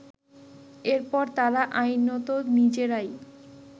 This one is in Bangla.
এরপর তারা আইনত নিজেরাই